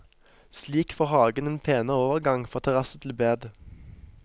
Slik får hagen en penere overgang fra terrasse til bed.